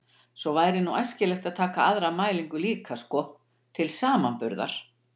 Svo væri nú æskilegt að taka aðra mælingu líka sko, til samanburðar.